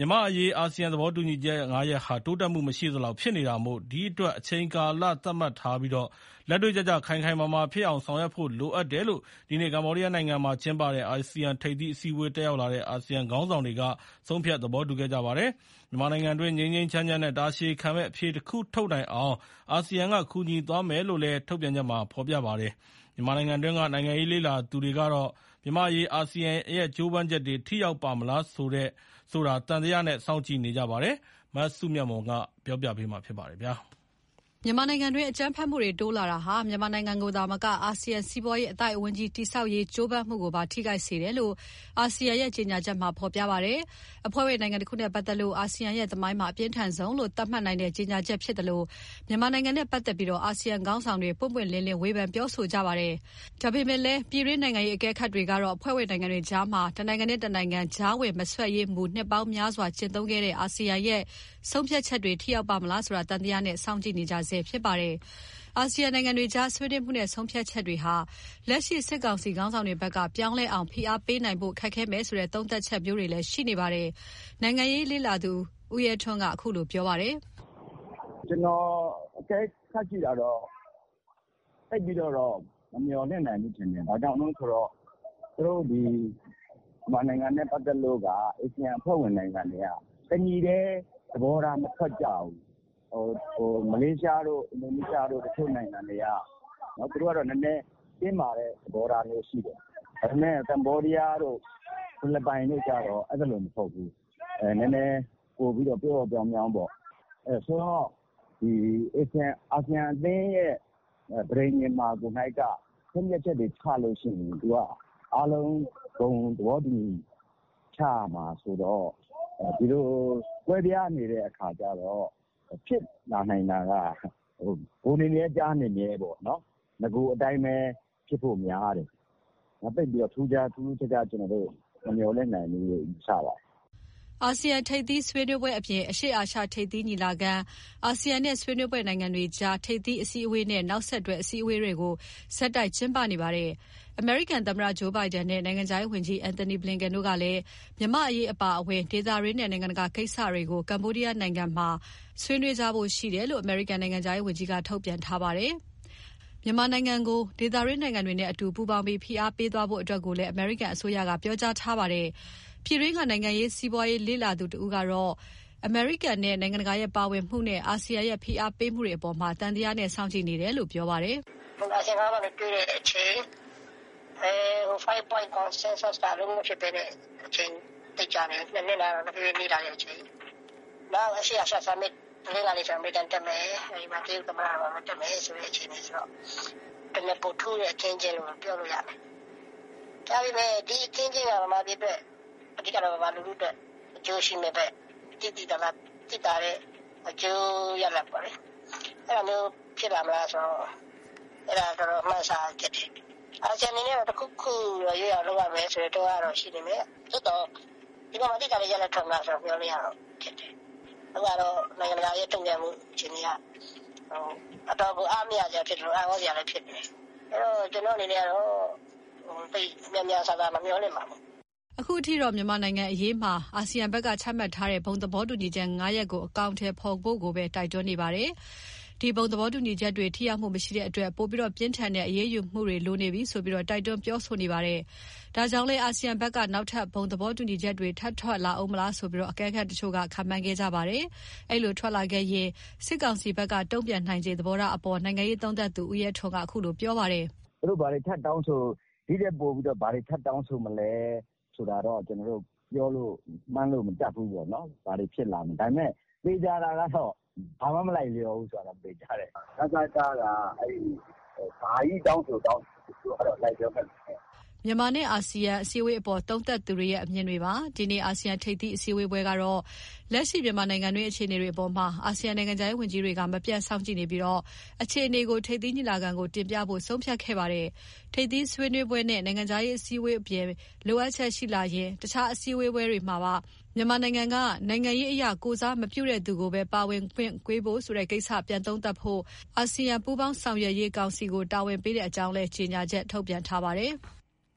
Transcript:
ြန်မာ့အရေး အာဆီယံသဘောတူညီချက် ၅ ရပ်ဟာ တိုးတက်မှုမရှိသလောက် ဖြစ်နေတာမို့ ဒီအတွက် အချိန်ကာလသတ်မှတ်ချက်ထားပြီး လက်တွ့ကျကျ ခိုင်ခိုင်မာမာဖြစ်အောင် ဆောင်ရွက်ဖို့ လိုအပ်တယ်လို့ ဒီနေ့ ကမ္ဘောဒီးယားနိုင်ငံမှာကျင်းပတဲ့ အာဆီယံထိပ်သီး အစည်းအဝေး တက်ရောက်လာတဲ့ အာဆီယံခေါင်းဆောင်တွေ ဆုံးဖြတ် သဘောတူခဲ့ကြပါတယ်။ မြန်မာနိုင်ငံတွင်း ငြိမ်းငြိမ်းချမ်းချမ်းနဲ့ တာရှည်ခံမယ့် အဖြေတခုထုတ်နိုင်အောင် ASEAN က ကူညီသွားမယ်လို့လည်း ASEAN ထုတ်ပြန်ချက်မှာ ဖော်ပြပါတယ်။ မြန်မာနိုင်ငံအတွင်းက နိုင်ငံရေး လေ့လာသူတွေကတော့ မြန်မာ့အရေး အာဆီယံရဲ့ ကြိုးပမ်းချက်တွေ ထိရောက်ပါ့မလားဆိုတာ သံသယနဲ့ စောင့်ကြည့်နေကြပါတယ်။ မစုမြတ်မွန် က တင်ပြပေးထားပါတယ်။ မြန်မာနိုင်ငံတွင်း အကြမ်းဖက်မှုတွေတိုးလာတာဟာ မြန်မာနိုင်ငံကိုသာမက ASEAN အသိုက် အမြုံတည်ဆောက်ရေးကြိုးပမ်းမှုကိုပါ ထိခိုက်စေတယ်လို့ အာဆီယံရဲ့ ကြေညာချက်မှာ ဖေါ်ပြပါတယ်။ အဖွဲ့ဝင်နိုင်ငံတခုနဲ့ ပတ်သက်ပြီး အာဆီယံရဲ့သမိုင်းမှာ အပြင်းထန်ဆုံးလို့ သတ်မှတ်နိုင်တဲ့ ကြေညာချက်ဖြစ်သလို မြန်မာနိင်ငံနဲ့ပတ်သက်ပြီး အာဆီယံ ခေါင်းဆောင်တွေ ပွင့်ပွင့်လင်းလင်း ဝေဖန်ပြောဆိုကြပါတယ်။ ဒါပေမဲ့လည်း ပြည်တွင်း နိုင်ငံရေးအကဲခတ်တွေကတော့ အဖွဲ့ဝင်နိုင်ငံတွေကြား တနိုင်ငံနဲ့ တနိုင်ငံကြားဝင် မစွက်ဖက်ရေးမူကို နှစ်ပေါင်းများစွာကျင့်သုံးခဲ့တဲ့ အာဆီယံရဲ့ ဆုံးဖြတ်ချက်တွေ ထိရောက်ပါ့မလားဆိုတာ သံသယနဲ့ စောင့်ကြည့်နေဆဲဖြစ်ပါတယ်။ အာဆီယံနိုင်ငံတွေအကြား ဆွေးနွေးမှုနဲ့ ဆုံးဖြတ်ချက်တွေဟာ လက်ရှိ စစ်ကောင်စီ ခေါင်းဆောင်တွေဘက်က ပြောင်းလဲအောင် ဖိအားပေးနိုင်ဖို့ ခက်ခဲမယ်ဆိုတဲ့ သုံးသပ်ချက်မျိုးတွေလည်း ရှိနေပါတယ်။ နိုင်ငံရေး လေ့လာသုံးသပ်သူ ဦးရဲထွန်းက အခုလို ပြောပါတယ်။ “ကျနော်အကဲခတ်ကြည့်တာတော့ သိပ်ပြီးမမျှော်လင့်နိုင်ဘူးထင်တယ်။ ဘာကြောင့်လဲဆိုတော့ မြန်မာနိုင်ငံနဲ့ပတ်သက်လို့က အာဆီယံအဖွဲ့ဝင်နိုင်ငံတွေက တညီတည်း သဘောထားမထွက်ကြဘူး။ မလေးရှားတို့၊ အင်ဒိုနီးရှားတို့က သူတို့ဘက်က တင်းမာတဲ့သဘောထားရှိတယ်။ ဒါပေမဲ့ ကမ္ဘောဒီးယားတို့၊ ဖိလစ်ပိုင်တို့ကျတော့ အဲလိုမဟုတ်ဘူး။ အာဆီယံအသင်း ပဋိညာဉ်မှာကိုက အားလုံး ဘုံသဘောတူညီချက်ချက်ရမှ ချနိုင်မှာဆိုတော့ ကွဲပြားနေရင်တော့ ဖြစ်လာနိုင်တာက ပိုနေမြဲကျားနေမြဲပေါ့။ နဂိုအတိုင်းပဲ ဖြစ်ဖို့များတယ်။ သိပ်ပြီးထူးထူးခြားခြားမမျှော်လင့်နိုင်ဘူးယူဆပါတယ်။” အာဆီယံထိပ်သီးအစည်းအဝေးအပြင် အရှေ့အာရှ ထိပ်သီးညီလာခံ၊ အာဆီယံနဲ့ ဆွေးနွေးဘက်နိုင်ငံတွေကြား ထိပ်သီးအစည်းအဝေးနဲ့ နောက်ဆက်တွဲ အစည်းအဝေးတွေ ဆက်တိုက် ကျင်းပဖို့ရှိပါတယ်။ နောက်ပြီး အမေရိကန်သမ္မတ Joe Biden နဲ့ နိုင်ငံခြားရေးဝန်ကြီး Antony Blinken တို့လည်း မြန်မာ့အရေး အပါအဝင် ဒေသတွင်းနဲ့ နိုင်ငံတကာကိစ္စတွေကို ဆွေးနွေးကြဖို့ရှိတယ်လို့လည်း အမေရိကန် နိုင်ငံခြားရေးဝန်ကြီးဌာနက ပြောပါတယ်။ မြန်မာနိုင်ငံကို ဖိအားပေးဖို့ ဒေသတွင်းနိုင်ငံတွေနဲ့အတူ ပူးပေါင်းပြီး အရေးယူပိတ်ဆို့တာတွေ တိုးလုပ်သွားဖို့ အမေရိကန် ပြည်ထောင်စုဘက်က ပြောဆိုပါတယ်။ ပြည်တွင်းက နိုင်ငံရေး၊ စီးပွားရေး လေ့လာသုံးသပ်သူတဦးကတော့ အမေရိကန်နဲ့ နိုင်ငံတကာရဲ့ပါဝင်မှုနဲ့ အာဆီယံရဲ့ဖိအားပေးမှုတွေအပေါ်မှာ သံသယနဲ့ စောင့်ကြည့်နေတယ်လို့ ပြောပါတယ်။ “အာဆီယံခေါင်းဆောင်တွေတွေ့တဲ့အချိန်၊ ဘုံသဘောတူညီချက် ၅ ချက် ကအလုပ်မဖြစ်တဲ့အချိန်က ၂ နှစ်နား တဖြည်းဖြည်းနီးလာတဲ့အချိန်၊ နောက်အရှေ့အာရှ Summit အမေရိကန် တက်မယ်၊ တရုတ်တက်မယ်ဆိုတော့ ပိုထူးတဲ့ အခင်းအကျင်းလို့ပြောလို့ရတယ်။ အဓိက-က အခင်းအကျင်းက မြန်မာပြည်သူတွေအတွက် သိသိသာသာအကျိုးရလဒ်ရမလားဆိုတာတော့မှန်းဆရခက်တယ်။ အာဆီယံအနေနဲ့တခုခု ရွေ့နေရမယ်ဆိုတဲ့တွန်းအားရှိပေမဲ့ ဒီမှာ သိသာတဲ့ရလဒ်ရလာမလားလို့ မျှော်လင့်ရဖို့ခက်တယ်။ နောက်နိုင်ငံတကာ ရဲ့တုံံ့ပြန်မှုက တော်တော်အားမရစရာ အံ့ဩစရာဖြစ်နေတယ်။ အဲတော့ ကျနော့်အနေနဲ့ သိပ်များများစားစားမမျှော်လင့်ပါဘူး။” အခုအထိတော့ မြန်မာနိုင်ငံအရေးမှာ အာဆီယံကဘက်က ချမှတ်ထားတဲ့ ဘုံသဘောတူညီချက် ၅ ရပ်ကို အကောင်အထည်ဖေါ်ဖို့ကိုပဲ တိုက်တွန်းနေတာပါ။ ဒီ ဘုံသဘောတူညီချက်တွေ ထိရောက်မှုမရှိတဲ့အတွက် ပိုပြီး ပြင်းထန်တဲ့ အရေးယူမှုတွေ လိုနေပြီဆိုပြီး တိုက်တွန်းပြောဆိုတာတွေလည်း ရှိနေပါတယ်။ ဒါ့ကြောင့်လည်း အာဆီယံဘက်က နောက်ထပ် ဘုံသဘောတူညီချက်တွေ ထပ်ထွက်လာဦးမလားဆိုပြီး အကဲခတ်တချို့ ခန့်မှန်းခဲ့ကြပါတယ်။ ဒီလိုထွက်လာခဲ့ရင် စစ်ကောင်စီဘက်က တုံ့ပြန်နိုင်ခြေ သဘောထားအပေါ် နိုင်ငံရေးသုံးသပ်သူ ဦးရဲထွန်းက အခုလို ပြောလိုက်ပါတယ်။ “သူတို့ဘာတွေထပ်တောင်းဆိုမလဲဆိုတာတော့ ကျနော်တို့မှန်းလို့မတတ်ဘူး။ ဘာတွေဖြစ် လာမလဲပေါ့။ သေချာတာကတော့ ဘာမှ မလိုက်လျောတာသေချာတယ်။ နစက-က ဘာကြီးတောင်းဆိုတောင်းဆို လိုက်လျောမယ်မထင်ဘူး။” မြန်မာနဲ့အာဆီယံအစည်းအဝေးအပေါ် သုံးသပ်သူတွေရဲ့ အမြင်တွေပါ။ ဒီနေ့ အာဆီယံ ထိပ်သီးအစည်းအ‌ဝေးကတော့ လက်ရှိမြန်မာနိုင်ငံတွင်း အခြေအနေတွေအပေါ်မှာ အာဆီယံ နိုင်ငံခြားရေးဝန်ကြီးတွေက မပြတ်စောင့်ကြည့်ပြီး အခြေအနေကို ထိပ်သီးညီလာခံကို တင်ပြဖို့ ဆုံးဖြတ်ခဲ့ကြပါတယ်။ ထိပ်သီးဆွေးနွေးပွဲနဲ့ နိုင်ငံခြားရေးအစည်းအဝေးအပြင် လိုအပ်ချက် ရှိလာရင် အခြားအစည်းအဝေးတွေမှာပါ မြန်မာနိုင်ငံက နိုင်ငံရေးအရ ကိုယ်စားမပြုတဲ့သူပဲ ပါဝင်ခွင့်ပေးဖို့ဆိုတဲ့ကိစ္စကို ပြန်သုံးသပ်ဖို့ အာဆီယံပူးပေါင်းဆောင်ရွက်ရေးကောင်စီကို တာဝန်ပေးတဲ့အကြောင်းလည်း ကြေညာချက် ထုတ်ပြန်ထားပါတယ်။